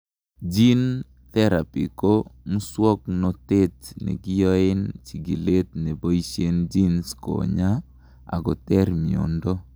gene therapy ko muswognotet nekiyoen chikilet neboishen genes konyaa akoter miondo